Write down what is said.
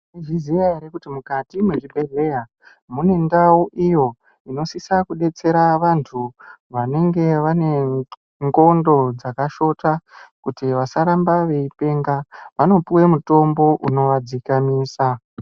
Maizviziva ere kuti mukati mezvibhedhlera mune ndau iyo inosisa kudetsera vandu vanenge vane ndxondo dzakashota kuti vasaramba veipenga vanopuwe mutombo unovadzikamisa.